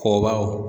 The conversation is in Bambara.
Kɔbaw